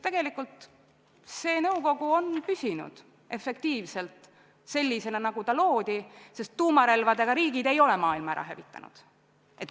Tegelikult see nõukogu on püsinud efektiivselt sellisena, nagu ta loodi, sest tuumarelvadega riigid ei ole maailma ära hävitanud.